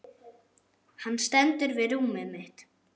Hann stendur við rúmið mitt.